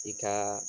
I ka